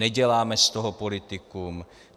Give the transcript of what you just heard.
Neděláme z toho politiku.